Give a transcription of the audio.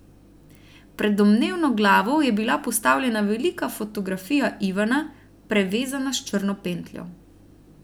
Pred domnevno glavo je bila postavljena velika fotografija Ivana, prevezana s črno pentljo.